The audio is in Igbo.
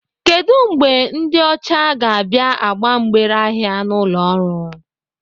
Kedu mgbe ndị ọcha ga-abịa agba mgbere ahịa n'ụlọ ọrụ?